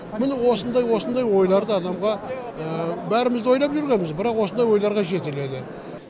міне осындай осындай ойларды адамға бәріміз де ойлап жүргенбіз бірақ осындай ойларға жетеледі